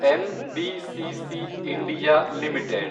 NBCC (India) limited